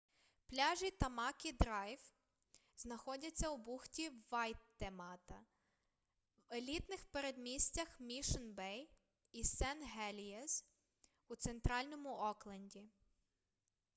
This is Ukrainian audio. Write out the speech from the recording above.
пляжі тамакі драйв знаходяться у бухті вайтемата в елітних передмістях мішн-бей і сен-гелієз у центральному окленді